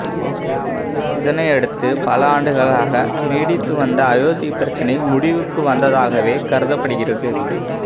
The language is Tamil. இதனையடுத்து பல ஆண்டுகளாக நீடித்து வந்த அயோத்தி பிரச்சனை முடிவுக்கு வந்ததாகவே கருதப்படுகிறது